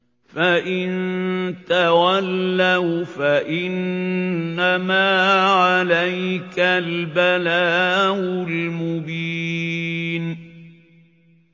فَإِن تَوَلَّوْا فَإِنَّمَا عَلَيْكَ الْبَلَاغُ الْمُبِينُ